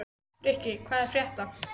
Frikki, hvað er að frétta?